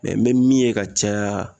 Mɛ n me min ye ka caya